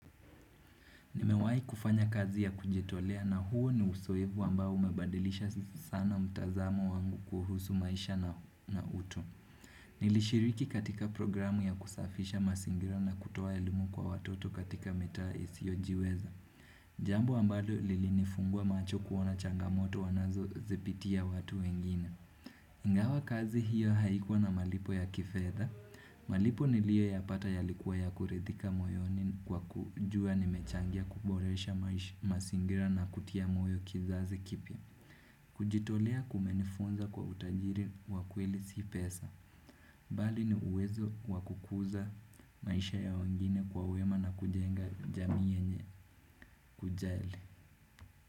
Nimewai kufanya kazi ya kujitolea na huo ni usoevu ambao umebadilisha sana mtazamo wangu kuhusu maisha na utu. Nilishiriki katika programu ya kusafisha masingira na kutoa elimu kwa watoto katika mitaa isiojiweza. Jambo ambalo lilinifungua macho kuona changamoto wanazozipitia watu wengine. Ingawa kazi hiyo haikuwa na malipo ya kifedha. Malipo nilioyapata yalikuwa ya kuridhika moyoni kwa kujua nimechangia kuboresha masingira na kutia moyo kizazi kipya kujitolea kumenifunza kwa utajiri wa kweli si pesa Bali ni uwezo wa kukuza maisha ya wengine kwa uwema na kujenga jamii yenye kujali.